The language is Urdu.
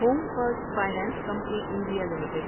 home first finance company India limited